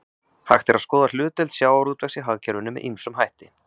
Hægt er að skoða hlutdeild sjávarútvegs í hagkerfinu með ýmsum hætti.